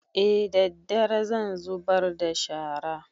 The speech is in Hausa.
E daddare zan zubar da shara